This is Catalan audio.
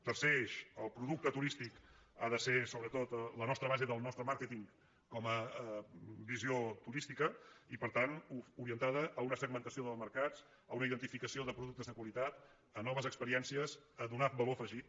tercer eix el producte turístic ha de ser sobretot la nostra base del nostre màrqueting com a visió turística i per tant orientada a una segmentació dels mercats a una identificació de productes de qualitat a noves ex·periències a donar valor afegit